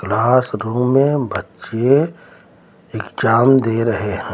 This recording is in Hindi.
क्लासरूम में बच्चे एग्जाम दे रहे हैं।